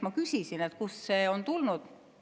Ma küsisin, kust see on tulnud.